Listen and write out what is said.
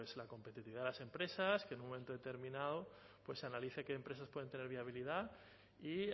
la competitividad de las empresas que en un momento determinado se analice qué empresas pueden tener viabilidad y